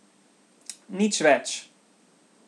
Nič več.